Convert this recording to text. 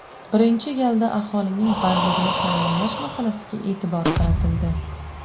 Birinchi galda aholining bandligini ta’minlash masalasiga e’tibor qaratildi.